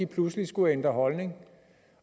pludselig skulle ændre holdning